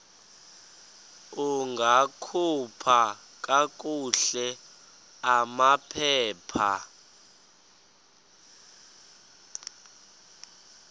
ungakhupha kakuhle amaphepha